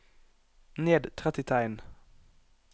Ned tretti tegn